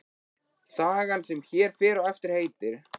Sagan sem hér fer á eftir heitir